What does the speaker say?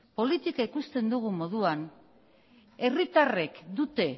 politika ikusten dugun moduan herritarrek dute